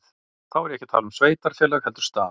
Þá er ég ekki að tala um sveitarfélag heldur stað.